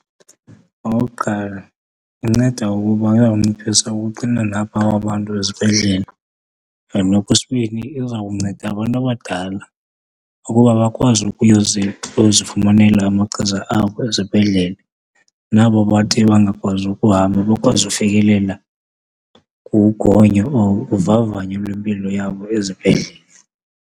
Okokuqala, inceda ukuba iyawunciphisa uxinana apha kwabantu ezibhedlele and okwesibini, izawunceda abantu abadala ukuba bakwazi ukuzifumanela amachiza apho ezibhedlele nabo bathe bangakwazi ukuhamba bakwazi ufikelela kugonyo or uvavanyo lwempilo yabo ezibhedlele.